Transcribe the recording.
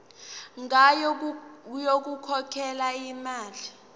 ngayo yokukhokhela imali